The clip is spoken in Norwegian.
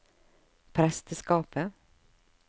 presteskapet